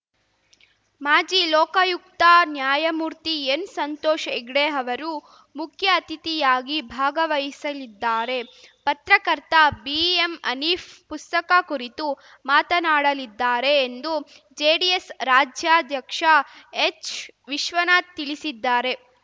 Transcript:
ಮಾಜಿ ಲೋಕಾಯುಕ್ತ ನ್ಯಾಯಮೂರ್ತಿಎನ್‌ಸಂತೋಷ್‌ ಹೆಗ್ಡೆ ಅವರು ಮುಖ್ಯ ಅತಿಥಿಯಾಗಿ ಭಾಗವಹಿಸಲಿದ್ದಾರೆ ಪತ್ರಕರ್ತ ಬಿಎಂಹನೀಫ್‌ ಪುಸ್ತಕ ಕುರಿತು ಮಾತನಾಡಲಿದ್ದಾರೆ ಎಂದು ಜೆಡಿಎಸ್‌ ರಾಜ್ಯಾಧ್ಯಕ್ಷ ಎಚ್‌ವಿಶ್ವನಾಥ್‌ ತಿಳಿಸಿದ್ದಾರೆ